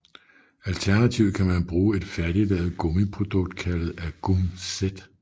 Alternativt kan man bruge et færdiglavet gummiprodukt kaldet agumZ